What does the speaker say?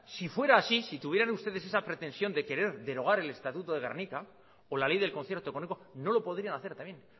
si fuera así si tuvieran ustedes esa pretensión de querer derogar el estatuto de gernika o la ley del concierto económico no lo podrían hacer también